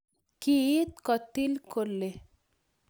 Kiit kotil kole